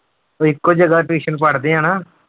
ਉਹ ਇੱਕੋ ਜਗ੍ਹਾ tuition ਪੜ੍ਹਦੇ ਆ ਨਾ।